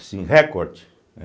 Assim, recorde.